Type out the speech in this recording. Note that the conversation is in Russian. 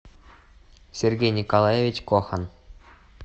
сергей николаевич кохан